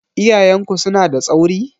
Iyayen ku suna da tsauri?